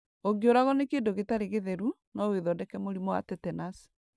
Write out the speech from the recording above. Ũngĩũragwo nĩ kĩndũ gĩtarĩ gĩtheru, no wĩthondeke mũrimũ wa tetanasi.